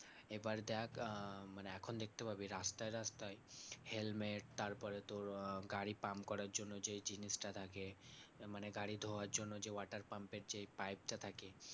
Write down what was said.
এবার দেখ আহ মানে এখন দেখতে পাবি রাস্তায় রাস্তায় helmet তারপরে তোর আহ গাড়ি pump করার জন্য যে জিনিসটা লাগে, মানে গাড়ি ধোয়ার জন্য যে water pump এর যে পাইপটা থাকে